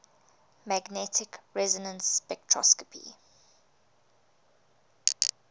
magnetic resonance spectroscopy